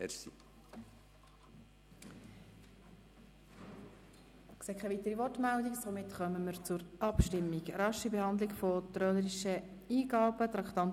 Ich sehe keine weiteren Wortmeldungen, somit kommen wir zur Abstimmung zu Traktandum 25, dem Postulat «Rasche Behandlung von trölerischen Eingaben».